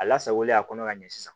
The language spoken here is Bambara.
A lasagolen a kɔnɔ ka ɲɛ sisan